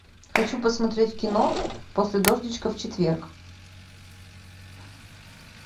хочу посмотреть кино после дождичка в четверг